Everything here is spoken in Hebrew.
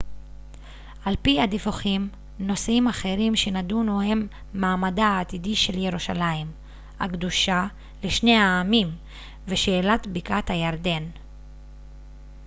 על פי הדיווחים נושאים אחרים שנדונו הם מעמדה העתידי של ירושלים הקדושה לשני העמים ושאלת בקעת הירדן